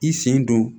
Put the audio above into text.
I sen don